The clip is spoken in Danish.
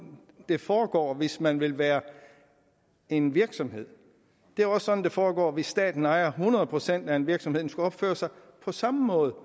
det foregår hvis man vil være en virksomhed det er også sådan det foregår hvis staten ejer hundrede procent af en virksomhed for den skulle opføre sig på samme måde